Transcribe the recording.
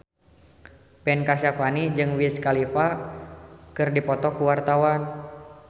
Ben Kasyafani jeung Wiz Khalifa keur dipoto ku wartawan